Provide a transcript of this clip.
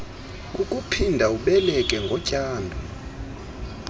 kukuphinda ubeleke ngotyando